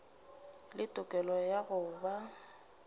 le tokelo ya go ba